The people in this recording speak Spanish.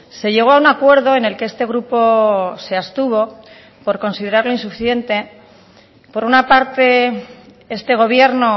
se llegó a un acuerdo en el que este grupo se abstuvo por considerarlo insuficiente por una parte este gobierno